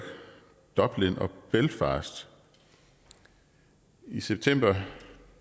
dublin og belfast i september